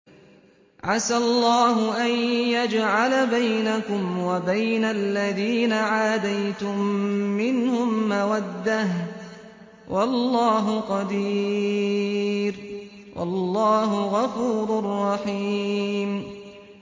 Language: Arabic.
۞ عَسَى اللَّهُ أَن يَجْعَلَ بَيْنَكُمْ وَبَيْنَ الَّذِينَ عَادَيْتُم مِّنْهُم مَّوَدَّةً ۚ وَاللَّهُ قَدِيرٌ ۚ وَاللَّهُ غَفُورٌ رَّحِيمٌ